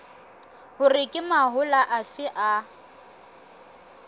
hore ke mahola afe a